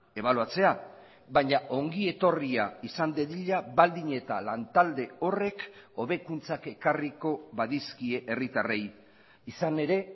ebaluatzea baina ongi etorria izan dadila baldin eta lantalde horrek hobekuntzak ekarriko badizkie herritarrei izan ere